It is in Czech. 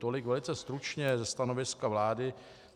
Tolik velice stručně ze stanoviska vlády.